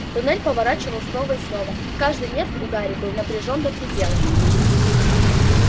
тоннель поворачивал снова и снова каждый нерв у гарри был напряжён до предела